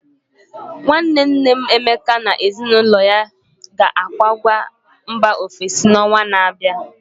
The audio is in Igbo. Nwanne nne m Emeka na ezinụlọ ya na-akwaga mba ọfesi n'ọnwa na-abịa.